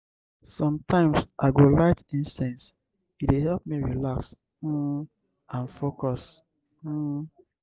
i dey always um play soft music in the evening; e dey create calming um vibes.